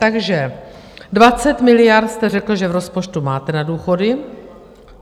Takže 20 miliard jste řekl, že v rozpočtu máte na důchody.